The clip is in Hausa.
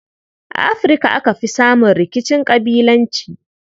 A Afirka aka fi samun rikicin ƙabilanci.